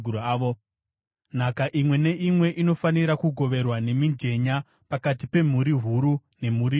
Nhaka imwe neimwe inofanira kugoverwa nemijenya pakati pemhuri huru nemhuri duku.”